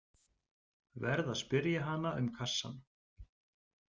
Verð að spyrja hana um kassann.